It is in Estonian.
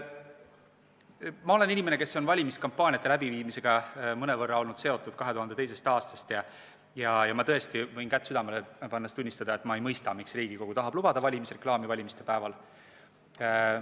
Ma olen inimene, kes on valimiskampaaniate läbiviimisega olnud mõnevõrra seotud 2002. aastast alates, ja võin tõesti kätt südamele pannes tunnistada, et ma ei mõista, miks Riigikogu tahab valimisreklaami valimispäeval lubada.